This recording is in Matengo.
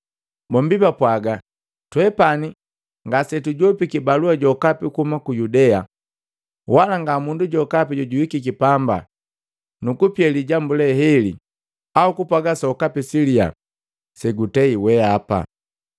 Bombi bapwaaga, “Twe ngasetujopiki balua jokapi kuhuma ku Yudea, wala ngamundu jokapi jojuhikiki pamba nukupia lijambu le heli au kupwaaga sokapi siliya segutei wehapa.